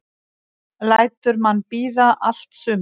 Lætur mann bíða allt sumarið.